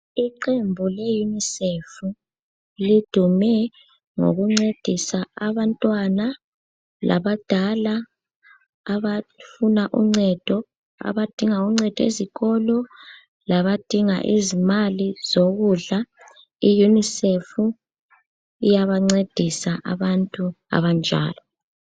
lqembu le Unicef lidume ngokuncedisa abantwana labadala abafuna uncedo abadinga uncedo esikolo labadinga izimali zokudla i Unicef iyabancedisa abantu abanjalo.